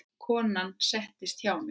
Konan settist hjá mér.